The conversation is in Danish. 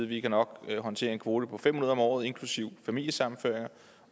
vi nok kan håndtere en kvote på fem hundrede om året inklusive familiesammenføringer